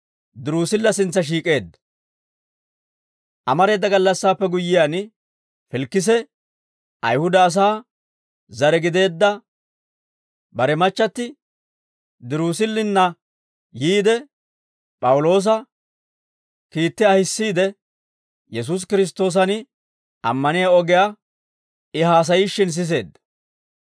Amareeda gallassaappe guyyiyaan, Filikise Ayihuda asaa zare gideedda bare machchatti Dirusillinna yiide, P'awuloosa kiitti ahissiide, Yesuusi Kiristtoosan ammaniyaa ogiyaa I haasayishshin siseedda.